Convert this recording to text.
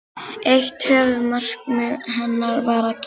Eitt höfuðmarkmið hennar var að gera